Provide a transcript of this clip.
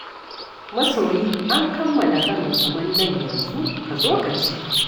Masoyi an kamalla karin kumallon yanzu, ka zo ka ci.